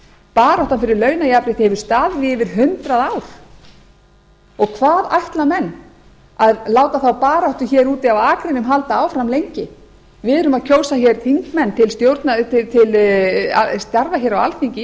baráttan fyrir launajafnrétti hefur staðið í yfir hundrað ár og hvað ætla menn að láta þá baráttu hér úti á akrinum halda áfram lengi við erum að kjósa þingmenn til starfa hér á alþingi